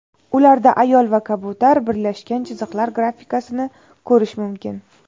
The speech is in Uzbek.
Ularda ayol va kabutar birlashgan chiziqlar grafikasini ko‘rish mumkin.